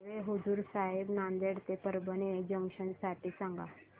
railway हुजूर साहेब नांदेड ते परभणी जंक्शन साठी सांगा